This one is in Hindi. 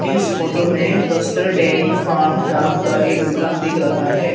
इस फोटो में बस्तर डेरी फार्म नाम का एक दुकान दिख रहा है।